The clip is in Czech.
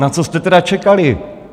Na co jste tedy čekali?